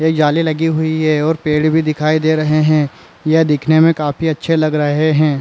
एक जाली लगी हुई हे और पेड़ भी दिखाई दे रहे हे यह दिखने मे काफी अच्छे लग रहे हे।